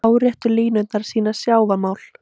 Láréttu línurnar sýna sjávarmál.